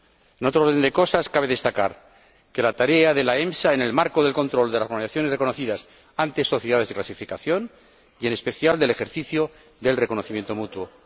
En otro orden de cosas, cabe destacar la tarea de la EMSA en el marco del control de las organizaciones reconocidas ante sociedades de clasificación y, en especial, del ejercicio del reconocimiento mutuo.